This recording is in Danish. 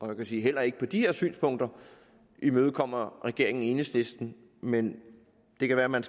man kan sige at heller ikke på de her synspunkter imødekommer regeringen enhedslisten men det kan være man